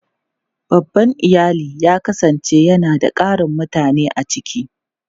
Babban iyali yawanci yana da ƙarin mutane a ciki.